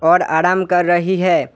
और आराम कर रही है।